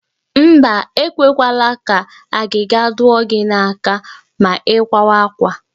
Mba, e kwekwala ka agịga dụọ gị n'aka ma ị kwawa àkwá